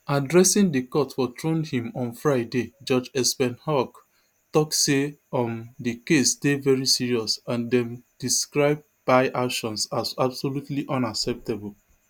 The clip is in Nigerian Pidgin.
addressing di court for trondheim on friday judge espen haug tok say um di case dey very serious and dem describe bye actions as absolutely unacceptable